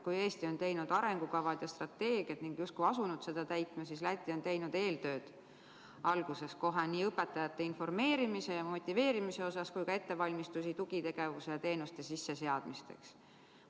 Kui Eesti on teinud arengukavad ja strateegiad ning justkui asunud neid täitma, siis Läti on teinud kohe alguses eeltööd nii õpetajate informeerimise ja motiveerimise osas kui ka ettevalmistusi tugitegevuste ja -teenuste sisseseadmiseks.